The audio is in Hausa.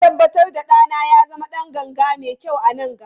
Zan tabbatar da ɗana ya zama ɗan ganga mai kyau a nan gaba.